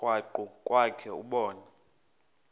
krwaqu kwakhe ubone